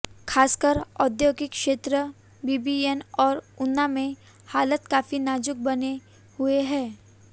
खासकर औद्योगिक क्षेत्र बीबीएन और ऊना में हालात काफी नाजुक बने हुए हैं